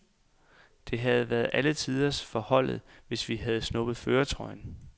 Det havde været alle tiders for holdet, hvis vi havde snuppet førertrøjen.